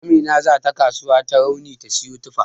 Amina zata kasuwar Tarauni ta siyo tufa.